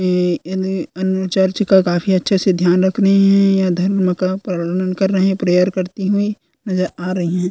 ये इने इने चर्च का काफ़ी अच्छे से ध्यान रखते है प्रेयर करते हुए नज़र आ रही है ।